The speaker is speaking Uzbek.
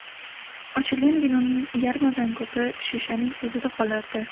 Ochilgan vinoning yarmidan ko‘pi shishaning o‘zida qolardi.